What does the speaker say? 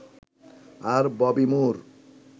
আর Bobby মুর